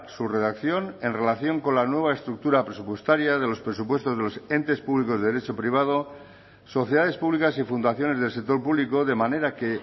su redacción en relación con la nueva estructura presupuestaria de los presupuestos de los entes públicos de derecho privado sociedades públicas y fundaciones del sector público de manera que